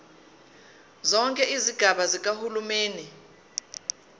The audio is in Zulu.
zonke izigaba zikahulumeni